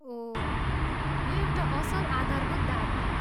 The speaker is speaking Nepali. ओह, यो एउटा असल आधारभूत दावी हो।